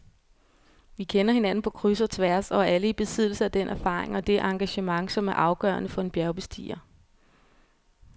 Vi kender hinanden på kryds og tværs og er alle i besiddelse af den erfaring og det engagement, som er afgørende for en bjergbestiger.